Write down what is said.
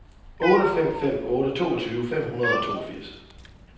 otte fem fem otte toogtyve fem hundrede og toogfirs